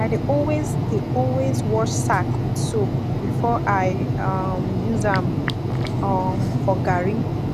i dey always dey always wash sack with soap before i um use am um for garri